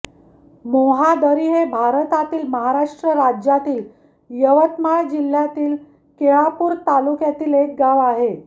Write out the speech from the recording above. मोहादरी हे भारतातील महाराष्ट्र राज्यातील यवतमाळ जिल्ह्यातील केळापूर तालुक्यातील एक गाव आहे